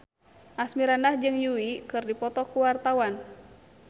Asmirandah jeung Yui keur dipoto ku wartawan